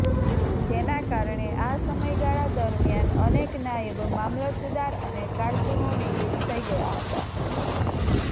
જેના કારણે આ સમયગાળા દરમ્યાન અનેક નાયબ મામલતદાર અને કારકુનો નિવૃત્ત થઈ ગયા હતા